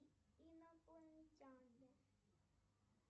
инопланетяне